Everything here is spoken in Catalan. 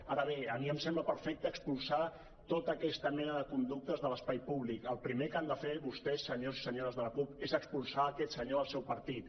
ara bé a mi em sembla perfecte expulsar tota aquesta mena de conductes de l’espai públic el primer que han de fer vostès senyors i senyores de la cup és expulsar aquest senyor del seu partit